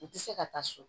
U tɛ se ka taa so